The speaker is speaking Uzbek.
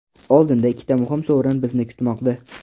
Oldinda ikkita muhim sovrin bizni kutmoqda.